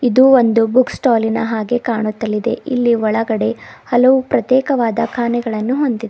ಇದು ಒಂದು ಬುಕ್ ಸ್ಟಾಲಿನ ಹಾಗೆ ಕಾಣುತ್ತದೆ ಇಲ್ಲಿ ಒಳಗಡೆ ಹಲವು ಪ್ರತ್ಯೇಕವಾದ ಕಾನೆಗಳನ್ನು ಹೊಂದಿ--